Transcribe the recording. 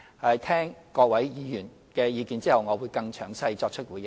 在聽取各位議員的意見後，我會更詳細作出回應。